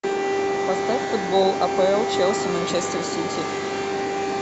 поставь футбол апл челси манчестер сити